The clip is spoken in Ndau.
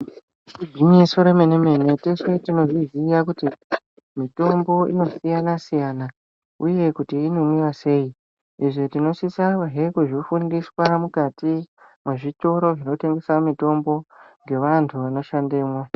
Igwinyiso remene mene tese tinozvoziya kuti mitombo inosiyana siyana uye kuti inomwiwa sei izvi tinoSisa he kuzvifundiswa mukati mwezvitoro zvinotengesa mutombo ngevantu vanoshandemwo.